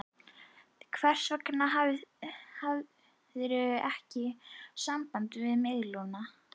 Hvers vegna hafðirðu ekki samband við mig, Lúna?